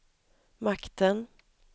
makten